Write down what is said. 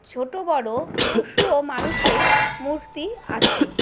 ছোট বড় পশু ও মানুষের মূর্তি আছে।